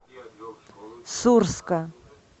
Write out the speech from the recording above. сурска